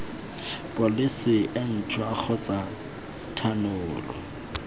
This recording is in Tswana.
pholesi e ntšhwa kgotsa thanolo